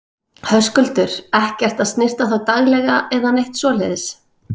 Höskuldur: Ekkert að snyrta þá daglega eða neitt svoleiðis?